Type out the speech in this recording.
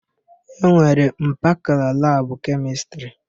E nwere mpakala labụ Kemịstrị.